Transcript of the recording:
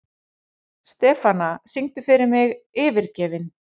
Stefana, syngdu fyrir mig „Yfirgefinn“.